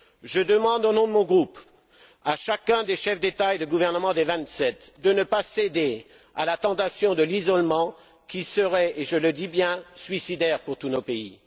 Je demande, au nom de mon groupe, à chacun des chefs d'État et de gouvernement des Vingt sept de ne pas céder à la tentation de l'isolement qui serait, et je le dis bien, suicidaire pour tous nos pays.